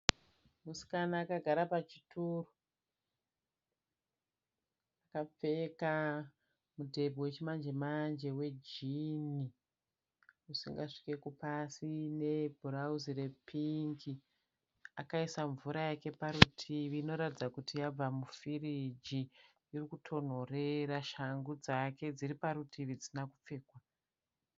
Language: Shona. Musikana akagara pachituru. akapfeka mudhebhe wechimanje wanje wejini. usingasviki kupasi nebhurauzi repingi. Akaisa mvura yake parutivi inoratidza kuti yabva mufirigi iri kutonhorera. Shangu dzake dziri parutivi dzisina kupfekwa.